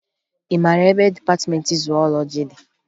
Ị mara ebe dịpatịmentị zuwọlọji dị?